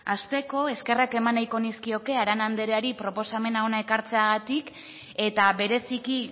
hasteko eskerrak eman nahiko nizkioke arana andereari proposamen hona ekartzeagatik eta bereziki